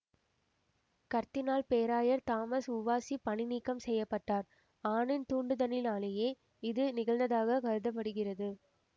கர்தினால் பேராயர் Thomas Wolsey பணி நீக்கம் செய்யபட்டார் ஆனின் தூண்டுதலினாலேயே இது நிகழ்ந்ததாகக் கருத படுகிறது